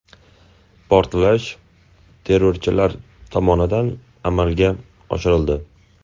Portlash terrorchilar tomonidan amalga oshirildi.